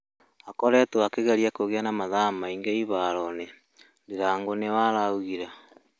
"akoretwo akĩgerĩa kũgĩa na mathaa maĩngĩ ĩharoĩnĩ," ndirangũ niwe ũraũgĩre